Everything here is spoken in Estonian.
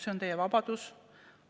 See on teie vabadus.